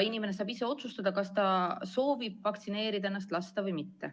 Inimene saab ise otsustada, kas ta soovib lasta ennast vaktsineerida või mitte.